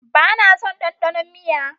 Ba na son dandanon miya.